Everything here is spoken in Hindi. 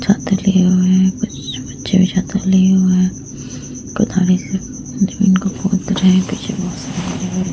छाता लिए हुए हैं। कुछ बच्चे भी छाता लिए हुए हैं। कुदाली से जमीन को खोद रहे हैं। पीछे बहोत सारे --